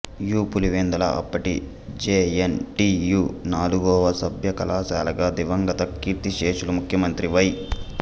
you Pulivendula అప్పటి J N T U నాలుగవ సభ్య కళాశాలగా దివంగత కీర్తిశేషులు ముఖ్యమంత్రి వై